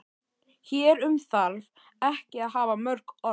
Hér um þarf ekki að hafa mörg orð.